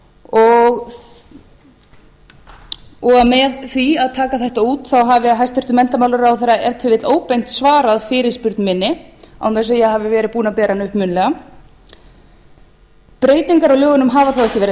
og með því að taka þetta út hafi hæstvirtur menntamálaráðherra ef til vill óbeint svarað fyrirspurn minni án þess að ég hafi verið búin að bera hana upp munnlega breytingar á lögunum hafa þó ekki verið